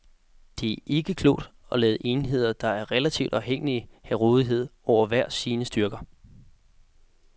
Det er ikke klogt at lade enheder, der er relativt afhængige have rådighed over hver sine styrker.